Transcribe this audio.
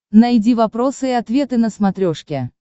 найди вопросы и ответы на смотрешке